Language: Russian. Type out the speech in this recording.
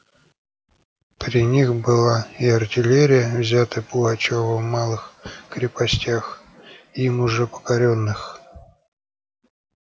при них была и артиллерия взятая пугачёвым в малых крепостях им уже покорённых